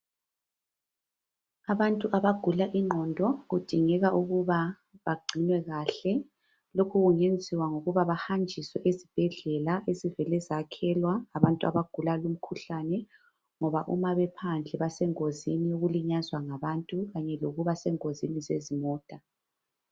Abantu abagula ingqondo kudingeka ukuba bagcinwe kahle. Lokhu kungenziwa ngokuthi bahanjiswe ezibhedlela ezivele zakhelwa abantu abagula lomkhuhlane ngoba uma bephamdle basengozini yokulinyazwa ngabantu Kanye lokuba sengozini zezimota.